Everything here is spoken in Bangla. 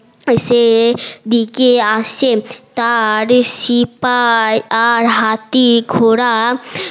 সেদিকে আসে তার সিপাই আর হাতি ঘোরা